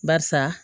Barisa